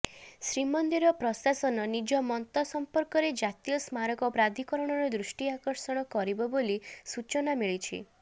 ଶ୍ରୀମନ୍ଦିର ପ୍ରଶାସନ ନିଜ ମତ ସଂପର୍କରେ ଜାତୀୟ ସ୍ମାରକ ପ୍ରାଧିକରଣର ଦୃଷ୍ଟି ଆକର୍ଷଣ କରିବ ବୋଲି ସୂଚନା ମିଳିଛି